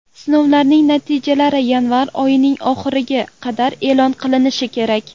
Sinovlarning natijalari yanvar oyining oxiriga qadar e’lon qilinishi kerak.